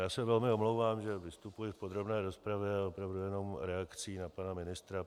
Já se velmi omlouvám, že vystupuji v podrobné rozpravě, ale opravdu jen reakcí na pana ministra.